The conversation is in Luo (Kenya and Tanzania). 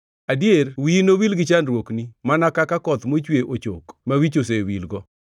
Adier wiyi nowil gi chandruokni, Mana ka koth mochwe ochok ma wich osewilgo.